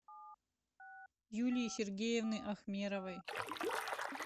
юлии сергеевны ахмеровой